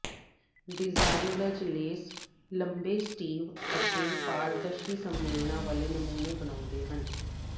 designers lace ਲੰਬੇ sleeve ਅਤੇ ਪਾਰਦਰਸ਼ੀ ਸੰਮਿਲਨਾਂ ਵਾਲੇ ਨਮੂਨੇ ਬਣਾਉਂਦੇ ਹਨ